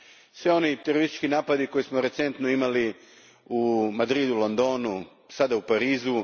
svih onih terorističkih napada koje smo recentno imali u Madridu, Londonu, sada i u Parizu.